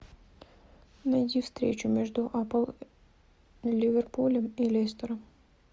найди встречу между апл ливерпулем и лестером